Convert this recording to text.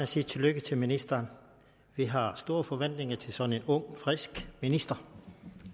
sige tillykke til ministeren vi har store forventninger til sådan en ung frisk minister